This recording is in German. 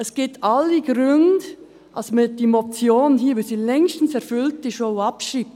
Es gibt alle Gründe, dass man diese Motion, weil sie längstens erfüllt ist, auch abschreibt.